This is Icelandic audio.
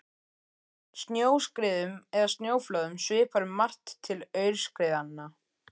Snjóskriðum eða snjóflóðum svipar um margt til aurskriðna.